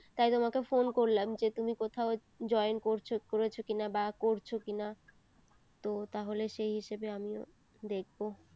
তাই তোমাকে phone করলাম যে তুমি কোথাও join করছো করেছো কিনা বা করছো কিনা তো তাহলে সেই হিসেবে আমিও দেখবো